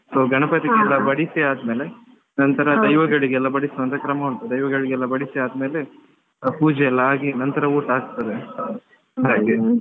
So ಗಣಪತಿಗೆ ಬಡಿಸಿ ಆದ್ಮೇಲೆ ನಂತರ ದೈವಗಳಿಗೆಲ್ಲ ಬಡಿಸುವಂತಾ ಕ್ರಮ ಉಂಟು ದೈವಗಳಿಗೆಲ್ಲ ಬಡಿಸಿ ಆದ್ಮೇಲೆ ಪೂಜೆಯೆಲ್ಲ ಆಗಿ ನಂತರ ಊಟ ಆಗ್ತದೆ ಹಾಗೆ.